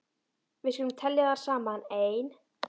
Við skulum telja þær saman: Ein.